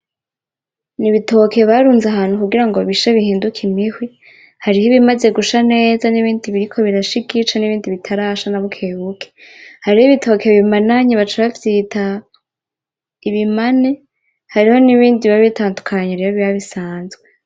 Ibitoki barunze ahantu kugira bishe bihinduke imihwi, hariho ibimaze gusha neza nibindi biriko birasha igice nibindi bitarasha nabukebuke. Hariho ibitoke bimananye baca bavyita ibimane, hariho nibindi biba bitandukanye biba bisanzwe.